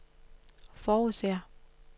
forudser